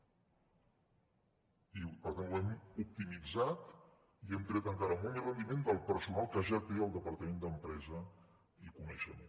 i per tant ho hem optimitzat i hem tret encara molt més rendiment del personal que ja té el departament d’empresa i coneixement